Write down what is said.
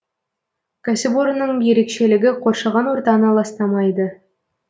кәсіпорынның ерекшелігі қоршаған ортаны ластамайды